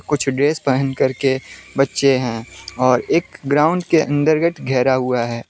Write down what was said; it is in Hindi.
कुछ ड्रेस पहन करके बच्चे हैं और एक ग्राउंड के अंदरगत घेरा हुआ है।